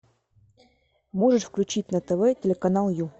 можешь включить на тв телеканал ю